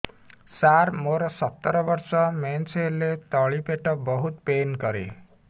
ସାର ମୋର ସତର ବର୍ଷ ମେନ୍ସେସ ହେଲେ ତଳି ପେଟ ବହୁତ ପେନ୍ କରେ